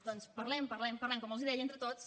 doncs parlem parlem parlem com els deia entre tots